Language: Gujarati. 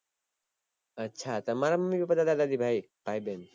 અચ્છા તમારા મમ્મી પપ્પા દાદા દાદી ભાય, ભાઈ બેન